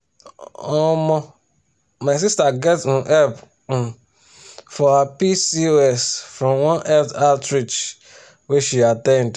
omo my sister get um help um for her pcos from one health outreach wey she at ten d.